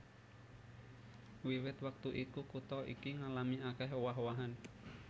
Wiwit wektu iku kutha iki ngalami akèh owah owahan